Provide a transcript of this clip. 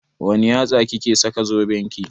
Wanne yatsa kike saka zoben ki?